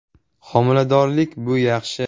“Homiladorlik bu yaxshi.